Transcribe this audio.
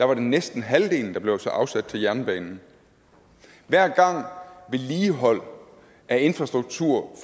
var det næsten halvdelen der blev afsat til jernbanen hver gang vedligehold af infrastruktur